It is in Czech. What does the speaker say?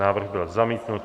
Návrh byl zamítnut.